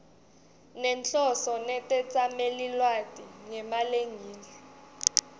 nenhloso netetsamelilwati ngemalengiso